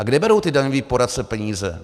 A kde berou ti daňoví poradci peníze?